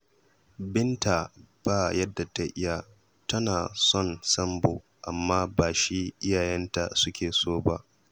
Binta ba yadda ta iya. Tana son Sambo amma ba shi iyayenta suke so ba